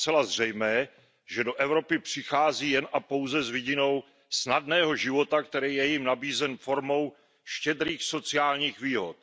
Je zcela zřejmé, že do Evropy přichází jen a pouze s vidinou snadného života, který je jim nabízen formou štědrých sociálních výhod.